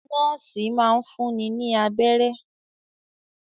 Nọ́ọ́sì máa n fúnni ní abẹ́rẹ́.